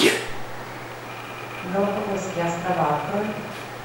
галапагосские острова открой